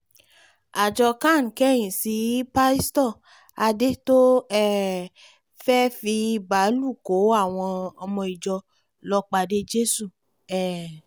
àjọ can kẹ̀yìn sí pásítọ̀ adé tó um fẹ́ fi báálù kó àwọn ọmọ ìjọ lọ pàdé jésù um